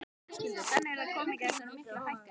Höskuldur: Þannig að það komi ekki þessar miklu hækkanir?